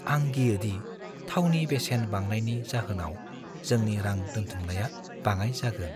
आं गियो दि थावनि बेसेन बांनायनि जाहोनाव जोंनि रां दोनथुमनाया बाङाइ जागोन।